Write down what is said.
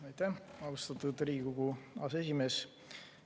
Aitäh, austatud Riigikogu aseesimees!